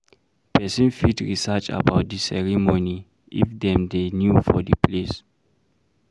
Person fit research about di ceremony if dem dey new for di place